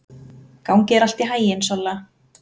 Gangi þér allt í haginn, Solla.